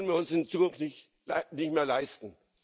Auch das können wir uns in Zukunft nicht mehr leisten.